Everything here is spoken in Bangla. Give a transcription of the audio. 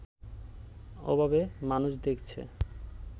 ওভাবে মানুষ দেখছে